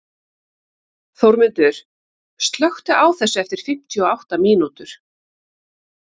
Þórmundur, slökktu á þessu eftir fimmtíu og átta mínútur.